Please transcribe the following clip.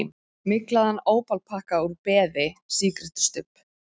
Myglaðan ópalpakka úr beði, sígarettustubb.